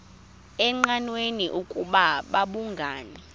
engqanweni ukuba babhungani